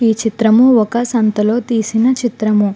ఈ చిత్రము ఒక సంత లో తీసిన చిత్రము.